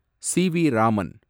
CV. Raman